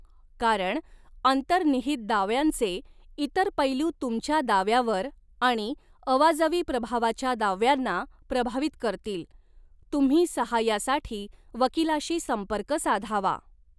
कारण अंतर्निहित दाव्यांचे इतर पैलू तुमच्या दाव्यावर आणि अवाजवी प्रभावाच्या दाव्यांना प्रभावित करतील, तुम्ही सहाय्यासाठी वकीलाशी संपर्क साधावा.